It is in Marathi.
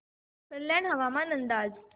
कल्याण हवामान अंदाज